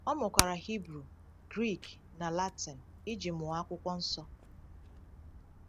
Ọ mụkwara Hibru, Grik, na Latin iji mụọ Akwụkwọ Nsọ.